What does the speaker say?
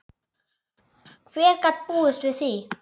Hver gat búist við því?